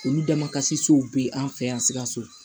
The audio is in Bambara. Olu dama kasi sow bɛ an fɛ yan sikaso